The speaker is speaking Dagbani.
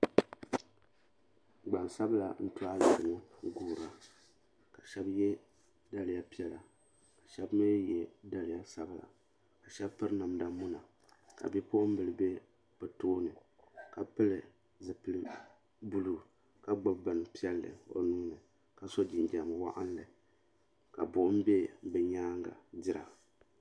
Gbansabla n to ayirimo n guura ka shɛba ye daliya piɛla ka shɛba mi ye daliya sabla ka shɛba piri namda muna ka bipuɣimbila be bɛ tooni ka pili zipili buluu ka gbibi binpiɛlli o nuuni ka so jinjiɛm woɣinli ka buɣum be bɛ nyaanga n dira.